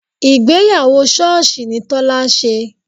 Ìgbéyàwó sọ́ọ̀sì ni Tọ́lá ṣe